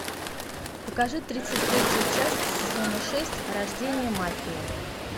покажи тридцать третью часть сезона шесть рождение мафии